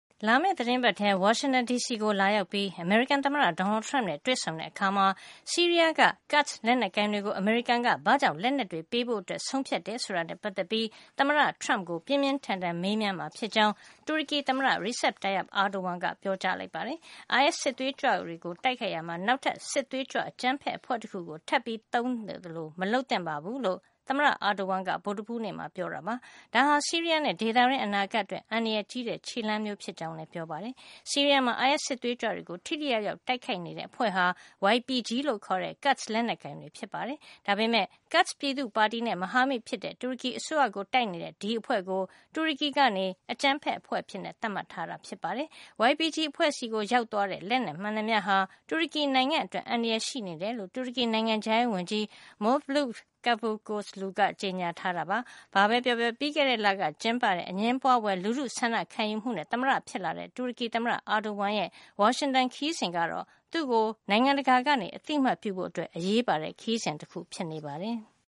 လာမယ့် သီတင်းပတ်ထဲ ဝါရှင်တန်ဒီစီကို လာရောက်ပြီး အမေရိကန် သမ္မတ Donald Trump နဲ့ တွေ့ဆုံတဲ့အခါမှာ ဆီးရီးယားက Kurds လက်နက်ကိုင်တွေကို အမေရိကန်က ဘာ့ကြောင့် လက်နက်တွေ ပေးဖို့ ဆုံးဖြတ်တယ်ဆိုတာနဲ့ ပတ်သက်ပြီး သမ္မတ Trump ကို ပြင်းပြင်း ထန်ထန် မေးမြန်းမှာ ဖြစ်ကြောင်း တူရကီ သမ္မတ Recep Tayyip Erdogan က ပြောပါတယ်။ အိုင်အက်စ် စစ်သွေးကြွတွေကို တိုက်ခိုက်ရာမှာ နောက် စစ်သွေးကြွ အကြမ်းဖက် အဖွဲ့တခုကို ထပ်သုံးသလို မလုပ်သင့်ဘူးလို့ သမ္မတ Erdogan က ဗုဒ္ဓဟူးနေ့မှာ ပြောပါတယ်။ ဒါဟာ ဆီးရီးယားနဲ့ ဒေသတွင်း အနာဂါတ်အတွက် အန္တရာယ် ကြီးတဲ့ ခြေလှမ်းမျိုး ဖြစ်ကြောင်းလည်း ပြောပါတယ်။ ဆီးရီးယားမှာ အိုင်အက်စ် စစ်သွေးကြွတွေကို ထိထိရောက်ရောက် တိုက်ခိုက်နေတဲ့ အဖွဲ့ဟာ YPG လို့ခေါ်တဲ့ Kurds လက်နက်ကိုင်တွေ ဖြစ်ပါတယ်။ ဒါပေမယ့် Kurds ပြည်သူ့ပါတီနဲ့ မဟာမိတ်ဖြစ်တဲ့ တူရကီအစိုးရကို တိုက်နေတဲ့ ဒီအဖွဲ့ကို တူရကီက အကြမ်းဖက် အဖွဲ့အဖြစ် သတ်မှတ်ထားတာ ဖြစ်ပါတယ်။ YPG အဖွဲ့ဆီ ရောက်သွားတဲ့ လက်နက် မှန်သမျှဟာ တူရကီနိုင်ငံအတွက် အန္တရာယ်ရှိနေတယ်လို့ တူရကီ နိုင်ငံခြားရေးဝန်ကြီး Mevlut Cavusoglu က ကြေညာထားတာပါ။ ဘာပဲပြောပြော ပြီးခဲ့တဲ့လက ကျင်းပတဲ့ အငြင်းပွါးဖွယ် လူထုဆန္ဒခံယူမှုနဲ့ သမ္မတဖြစ်လာတဲ့ တူရကီသမ္မတ Erdogan ရဲ့ ဝါရှင်တန် ခရီးစဉ်ကတော့ သူ့ကို နိုင်ငံတကာက အသိမှတ်ပြုဖို့ အတွက် အရေးပါတဲ့ ခရီးစဉ်တခု ဖြစ်နေပါတယ်။